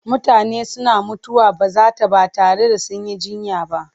Mutane suna mutuwar bazata ba tare da sun yi jiyya ba.